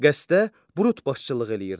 Qəsdə Brüt başçılıq eləyirdi.